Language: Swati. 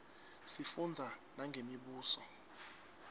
sifundza nangemibuso